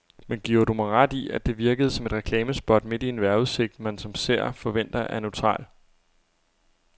Men giver du mig ret i, at det virkede som et reklamespot midt i en vejrudsigt, man som seer forventer er neutral.